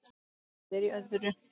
Ég er í öðru.